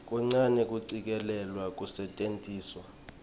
kuncane kucikelelwa kwekusetjentiswa